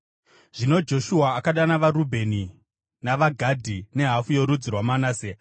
Zvino Joshua akadana vaRubheni navaGadhi nehafu yorudzi rwaManase